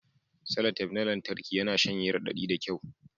Salatep na lantarki yana shanye raɗaɗi da kyau